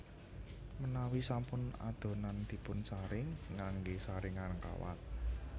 Menawi sampun adonan dipunsaring nganggé saringan kawat